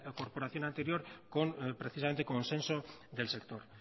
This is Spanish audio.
corporación anterior con precisamente consenso del sector